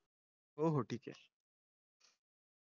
हो हो ठीक हे